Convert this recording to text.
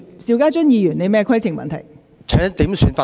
邵家臻議員，你有甚麼規程問題？